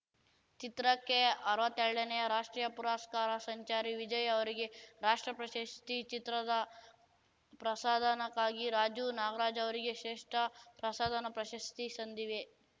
ಚಿತ್ರಕ್ಕೆ ಅರ್ವತ್ತೆರಡನೇ ರಾಷ್ಟ್ರೀಯ ಪುರಸ್ಕಾರ ಸಂಚಾರಿ ವಿಜಯ್‌ ಅವರಿಗೆ ರಾಷ್ಟ್ರ ಪ್ರಶಸ್ತಿ ಚಿತ್ರದ ಪ್ರಸಾದನಕ್ಕಾಗಿ ರಾಜು ನಾಗ್ರಾಜ್‌ ಅವರಿಗೆ ಶ್ರೇಷ್ಠ ಪ್ರಸಾದನ ಪ್ರಶಸ್ತಿ ಸಂದಿವೆ